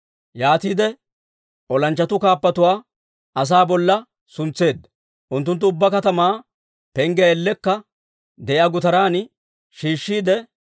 Yaatiide olanchchatuu kaappatuwaa asaa bolla suntseedda; unttunttu ubbaa katamaa penggiyaa ellekka de'iyaa gutaran shiishshiide,